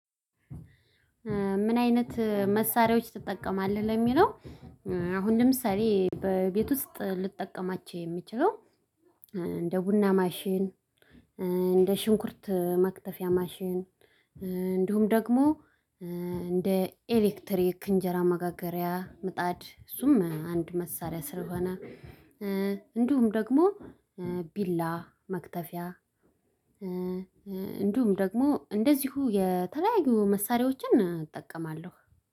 ምን አይነት መሳሪያዎች ትጠቀማለህ ለሚለው? አሁን ለምሳሌ በቤቱ ውስጥ ልጠቀማቸው የሚችለው። እንደ ቡና ማሽን እንደ ሽንኩርት መክተፊያ ማሽን። እንዲሁም ደግሞ እንደ ኤሌክትሪክ እንጀራ መጋገሪያ ምጣድ እሱም አንድ መሳሪያ ስለሆነ። እንዲሁም ደግሞ ቢላ መክተፊያ እንዲሁም ደግሞ እንደዚሁ የተለያዩ መሳሪያዎችን እጠቀማለሁ።